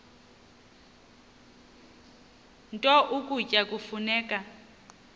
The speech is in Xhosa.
nto ukutya kufuneka